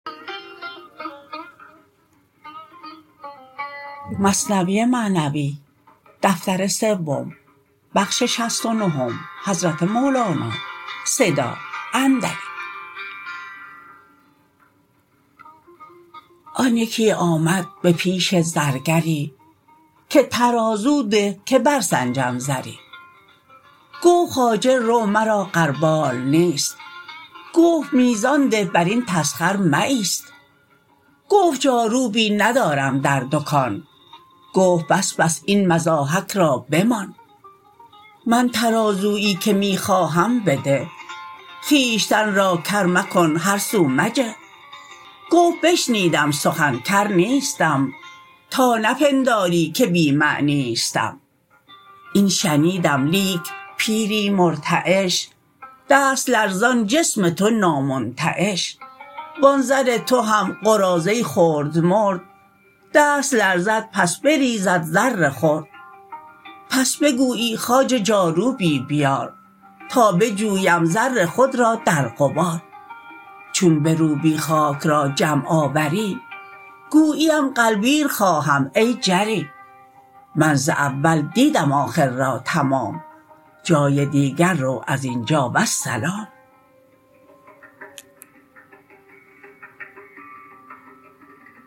آن یکی آمد به پیش زرگری که ترازو ده که بر سنجم زری گفت خواجه رو مرا غربال نیست گفت میزان ده برین تسخر مه ایست گفت جاروبی ندارم در دکان گفت بس بس این مضاحک را بمان من ترازویی که می خواهم بده خویشتن را کر مکن هر سو مجه گفت بشنیدم سخن کر نیستم تا نپنداری که بی معنیستم این شنیدم لیک پیری مرتعش دست لرزان جسم تو نامنتعش وان زر تو هم قراضه خرد مرد دست لرزد پس بریزد زر خرد پس بگویی خواجه جاروبی بیار تا بجویم زر خود را در غبار چون بروبی خاک را جمع آوری گوییم غلبیر خواهم ای جری من ز اول دیدم آخر را تمام جای دیگر رو ازینجا والسلام